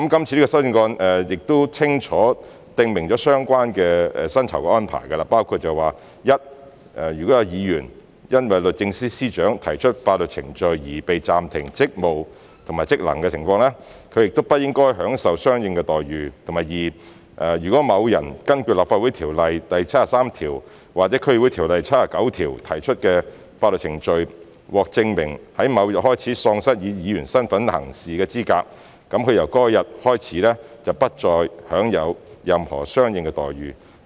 這項修正案清楚訂明相關的薪酬安排，包括：第一，如果有議員因為律政司司長提出法律程序而被暫停職務和職能的情況，他不應享受相應的待遇；第二，如果在根據《立法會條例》第73條或《區議會條例》第79條提出的法律程序中，證明某人在某日開始喪失以議員身份行事的資格，他由該日開始便不再享有任何相應的待遇。